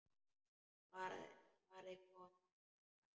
Svarið kom um hæl.